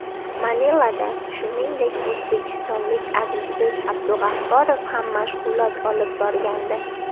Manilada, shuningdek, o‘zbekistonlik Azizbek Abdug‘afforov ham mashg‘ulot olib borgandi.